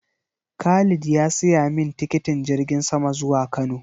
Khalid ya siya min tikitin jirgin sama zuwa Kano